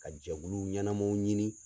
Ka jɛkulu ɲɛnamaw ɲini